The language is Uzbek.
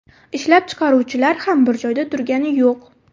Ishlab chiqaruvchilar ham bir joyda turgani yo‘q!